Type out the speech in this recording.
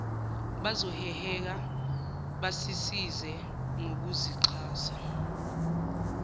bazoheheka basisize ngokusixhasa